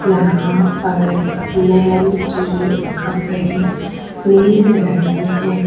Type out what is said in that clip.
यहां पर मैन के कपड़े मिल रहे हैं।